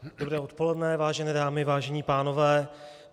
Dobré odpoledne, vážené dámy, vážení pánové.